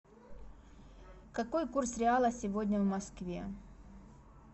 какой курс реала сегодня в москве